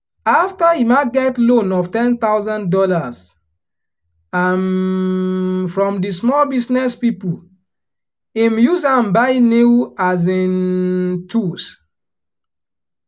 after emma get loan of ten thousand dollars um from di small business people him use am buy new um tools